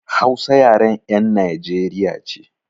Hausa yaren 'yan Najeriya ce.